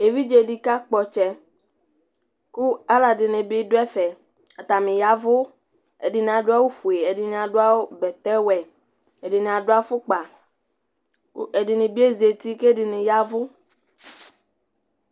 éʋidzeni kakpɔtsɛ ku alɔɖinibi duɛfɛ atani yaʋu ɛdìnì aɖuawu fue ɛdìnì aɖuawu bɛtɛwɛ ɛdìnì aɖuafukpa kɛdini biezati kɛdini yɛʋu